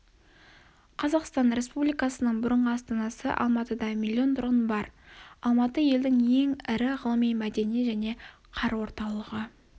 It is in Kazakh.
қазақстан республикасының бұрынғы астанасы-алматыда миллион тұрғын бар алматы елдің ең ірі ғылыми мәдени және қар орталығы